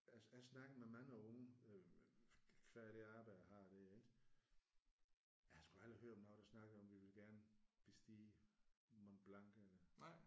Jeg jeg har snakket med mange unge qua det arbejde jeg har der ik? Jeg har sgu aldrig hørt nogen der snakkede om at vi ville gerne bestige Mont Blanc eller